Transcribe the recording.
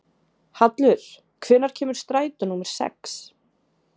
Hallur, hvenær kemur strætó númer sex?